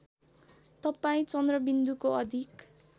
तपाईँ चन्द्रबिन्दुको अधिक